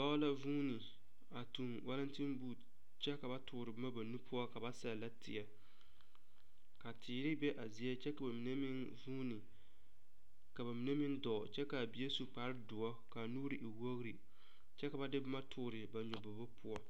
Dɔɔ la vuune a tuŋ Wallington boot kyɛ ka ba toore boma ba nuuri poɔ ka ba sɛllɛ teɛ ka teere be a zie kyɛ ka ba mine meŋ vuune ka ba mine meŋ dɔɔ kyɛ ka a bie su kparedoɔ ka a nuuri e wogre kyɛ ka ba de boma toore ba nyɔbobo poɔ.